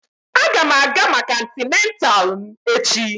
Aga m aga maka antenatal m echi